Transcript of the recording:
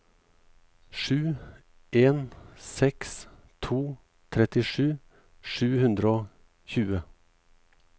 sju en seks to trettisju sju hundre og tjue